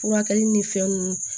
Furakɛli ni fɛn nunnu